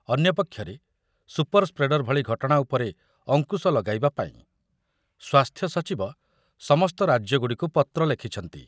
ଅନ୍ୟପକ୍ଷରେ super spreader ଭଳି ଘଟଣା ଉପରେ ଅଙ୍କୁଶ ଲଗାଇବା ପାଇଁ ସ୍ୱାସ୍ଥ୍ୟ ସଚିବ ସମସ୍ତ ରାଜ୍ୟଗୁଡ଼ିକୁ ପତ୍ର ଲେଖିଛନ୍ତି।